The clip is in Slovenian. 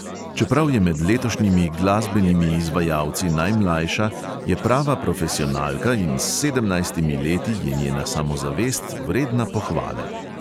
Čeprav je med letošnjimi glasbenimi izvajalci najmlajša, je prava profesionalka in s sedemnajstimi leti je njena samozavest vredna pohvale.